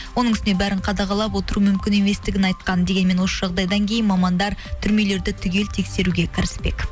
оның үстіне бәрін қадағалап отыру мүмкін еместігін айтқан дегенмен осы жағдайдан кейін мамандар түрмелерді түгел тексеруге кірісіпек